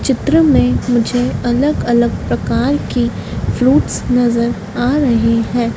चित्र में मुझे अलग अलग प्रकार की फ्रूट्स नजर आ रहे हैं।